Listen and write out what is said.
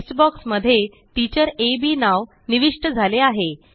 text box मध्ये teacher आ बी नाव निविष्ट झाले आहे